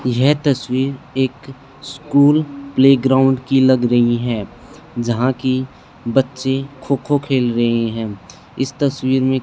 यह तस्वीर एक स्कूल प्लेग्राउंड की लग रही है जहां की बच्चे खो खो खेल रहे हैं इस तस्वीर में--